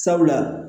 Sabula